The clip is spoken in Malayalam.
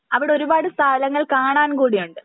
അവിടെ ഒരുപാട് സ്ഥലങ്ങൾ കാണാൻ കൂടി ഉണ്ട്